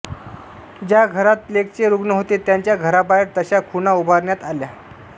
ज्या घरात प्लेगचे रुग्ण होते त्यांच्या घराबाहेर तशा खुणा उभारण्यात आल्या